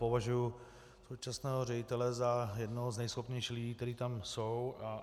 Považuji současného ředitele za jednoho z nejschopnějších lidí, kteří tam jsou.